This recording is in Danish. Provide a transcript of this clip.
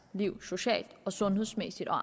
liv socialt og sundhedsmæssigt og